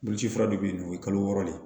Boloci fura dɔ be yen nɔ o ye kalo wɔɔrɔ de ye